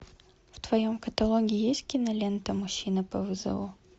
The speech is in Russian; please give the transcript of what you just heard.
в твоем каталоге есть кинолента мужчина по вызову